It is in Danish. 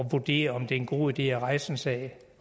vurdere om det er en god idé at rejse en sag